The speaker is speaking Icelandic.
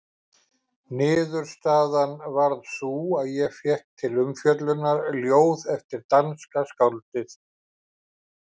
Niðurstaðan varð sú að ég fékk til umfjöllunar ljóð eftir danska skáldið